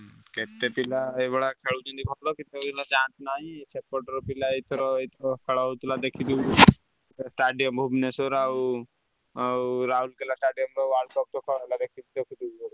କେତେ ପିଲା ଏଇଭଳିଆ ଏଇଭଳିଆ ଖେଳୁଛନ୍ତି ଭଲ କେତେ ପିଲା chance ନାହିଁ। ସେପଟ ର ପିଲା ଏଇଥର ଏଇଥର ଖେଳହଉଥିଲା ଦେଖିଛନ୍ତି stadium ଭୁବନେଶ୍ବର ଆଉ ଆଉ ରାଉଲକେଲ stadium ରେ World Cup ।